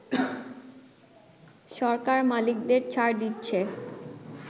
সরকার মালিকদের ছাড় দিচ্ছে”